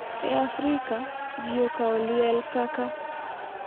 E Afrika, ji okawo liel kaka,